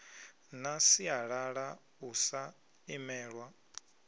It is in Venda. na sialala u sa imelwa